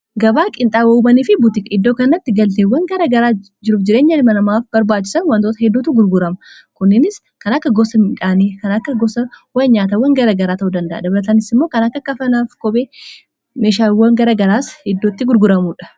gabaa qiinxaawawumanii fi butika iddoo kannatti galteewwan gara garaa jirub jireenya ilmanamaaf barbaachisan wantoota hedduutu gurgurama kunninis kana akka gosa midhaanii kana akka gosa wan nyaatawwan gara garaa ta'uu danda'a dabaratanisi immoo kana akka kafanaaf kopee meeshaaiwwa garagaraas iddootti gurguramuudha